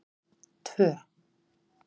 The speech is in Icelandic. tvö